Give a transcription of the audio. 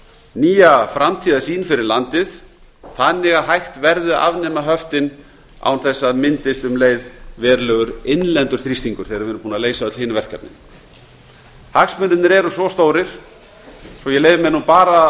nýja framtíðarsýn fyrir landið þannig að hægt verði að afnema höftin án þess að það myndist um leið innlendur þrýstingur þegar við erum búin að leysa öll hin verkefnin hagsmunirnir eru svo stórir og ég leyfi mér nú bara